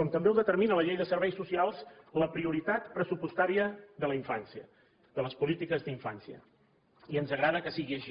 com també ho determina la llei de serveis socials la prioritat pressupostària de la infància de les polítiques d’infància i ens agrada que sigui així